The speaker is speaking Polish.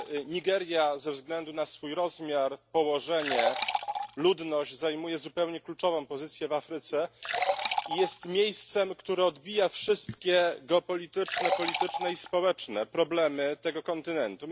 Nigeria ze względu na swój rozmiar, położenie, ludność zajmuje zupełnie kluczową pozycję w Afryce i jest miejscem, które odbija wszystkie geopolityczne, polityczne i społeczne problemy tego kontynentu.